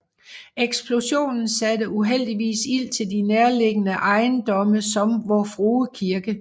Eksplosionen satte uheldigvis ild til de nærliggende ejendomme som Vor Frue Kirke